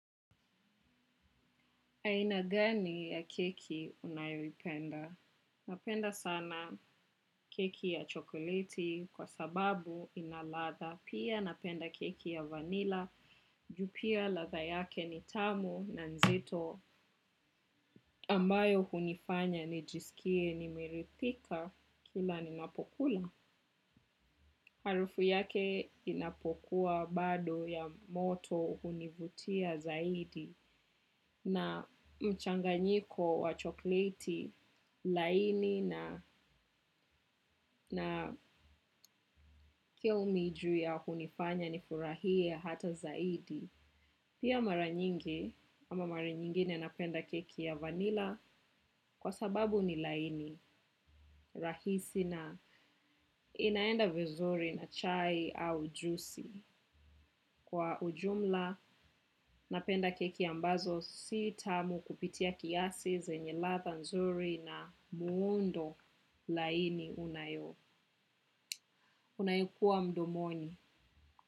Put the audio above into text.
Aina gani ya keki unayoipenda? Napenda sana keki ya chokoleti kwa sababu ina ladha. Pia napenda keki ya vanilla. Juu pia ladha yake ni tamu na nzito ambayo hunifanya nijisikie nimerithika kila ninapokula. Harufu yake inapokuwa bado ya moto hunivutia zaidi na mchanganyiko wa chokoleti laini. Na pia huu ni juu ya hunifanya nifurahie hata zaidi. Pia mara nyingi, ama mara nyingine napenda keki ya vanilla kwa sababu ni laini, rahisi na inaenda vizuri na chai au jusi. Kwa ujumla, napenda keki ambazo si tamu kupitia kiasi, zenye ladha nzuri na muundo laini unayo unayokua mdomoni.